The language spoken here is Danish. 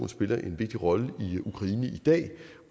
spiller en vigtig rolle i ukraine i dag